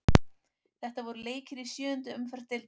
Þetta voru leikir í sjöundu umferð deildarinnar.